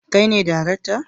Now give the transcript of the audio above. Kai ne darakta